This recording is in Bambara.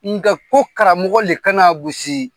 Nga ko karamɔgɔ le ka na a gosi.